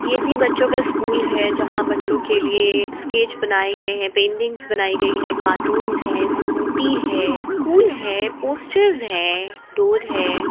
ये भी बच्चों का स्कूल है जहा बच्चों के लिए स्केच बनाय गई है पेंटिंग बनाई गई है कार्टून्स है स्कूटी है स्कूल है पोस्टर्स है डोर है।